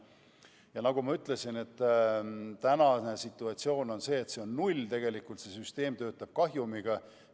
Ja nagu ma ütlesin, praegune situatsioon on selline, et tasu on null, st tegelikult süsteem töötab kahjumiga.